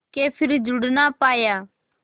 के फिर जुड़ ना पाया